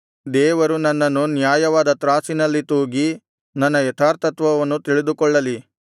ದೇವರು ನನ್ನನ್ನು ನ್ಯಾಯವಾದ ತ್ರಾಸಿನಲ್ಲಿ ತೂಗಿ ನನ್ನ ಯಥಾರ್ಥತ್ವವನ್ನು ತಿಳಿದುಕೊಳ್ಳಲಿ